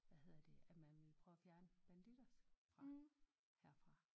Hvad hedder det at man ville prøve at fjerne bandidos fra herfra